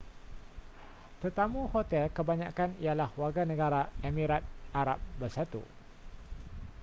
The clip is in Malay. tetamu hotel kebanyakan ialah warganegara emirat arab bersatu